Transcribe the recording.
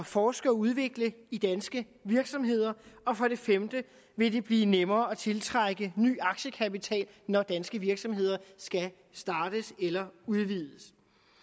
forske og udvikle i danske virksomheder og for det femte vil det blive nemmere at tiltrække ny aktiekapital når danske virksomheder skal startes eller udvides